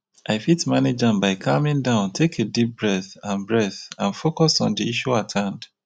i fit manage am by calming down take a deep breath and breath and focus on di issue at hand.